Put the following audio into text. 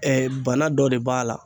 bana dɔ de b'a la